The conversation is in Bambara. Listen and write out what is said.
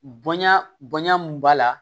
Bonya bonya mun b'a la